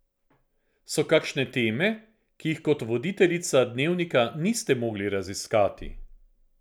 So kakšne teme, ki jih kot voditeljica Dnevnika niste mogli raziskati?